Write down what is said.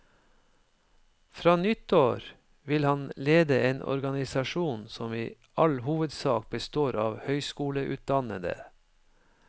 Fra nyttår vil han lede en organisasjon som i all hovedsak består av høyskoleutdannede.